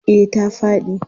Eh ta faɗi.